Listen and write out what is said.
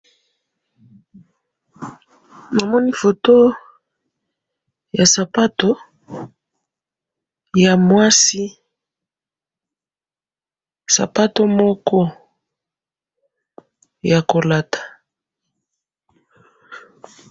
namoni photo ya sapato ya mwasi sapato moko ya kolata